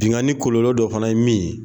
Binnkanni kɔlɔlɔ dɔ fana ye min ye